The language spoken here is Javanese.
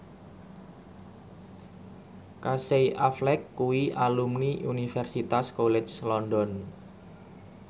Casey Affleck kuwi alumni Universitas College London